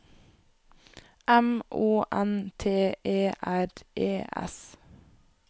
M O N T E R E S